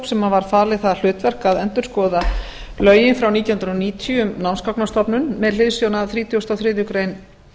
sem var falið það hlutverk að endurskoða lögin frá nítján hundruð níutíu um námsgagnastofnun með hliðsjón af þrítugasta og þriðju grein